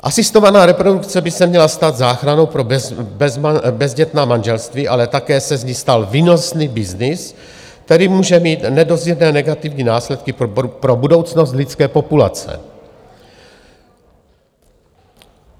Asistovaná reprodukce by se měla stát záchranou pro bezdětná manželství, ale také se z ní stal výnosný byznys, který může mít nedozírné negativní následky pro budoucnost lidské populace.